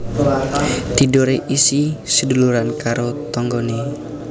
Tidore isih seduluran karo tonggone